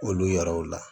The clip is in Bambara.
Olu yɛrɛw la